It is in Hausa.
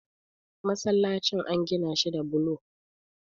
masallacin an Gina shi da bulo